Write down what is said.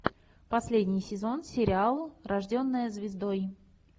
последний сезон сериала рожденная звездой